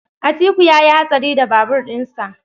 Atiku yayi hatsari da babur din sa.